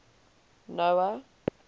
noah